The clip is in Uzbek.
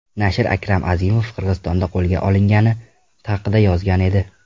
Nashr Akram Azimov Qirg‘izistonda qo‘lga olingani haqida yozgan edi.